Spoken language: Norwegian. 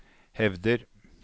hevder